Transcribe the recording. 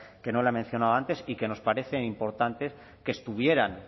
que no la he mencionado antes y que nos parece importante que estuvieran